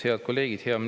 Head kolleegid!